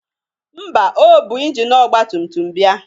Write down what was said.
Ḿbà, o bu injini ọgbatumtum bịa.